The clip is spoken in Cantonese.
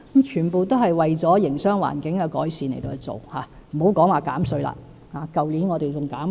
全部都是為了改善營商環境而做——也別說政府去年已經減稅。